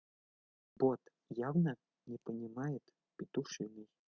бот явно не понимает петушиный